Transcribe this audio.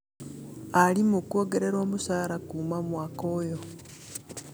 Arimũ kwongererwo mũcara kuma mwaka ũyũ